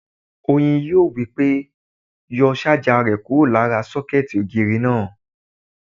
Oyin yóò wí pé "yọ sájà rẹ kúrò lára sọ́kẹ̀tì ògiri náà!"